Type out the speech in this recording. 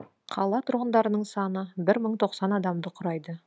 қала тұрғындарының саны бір мың тоқсан адамды құрайды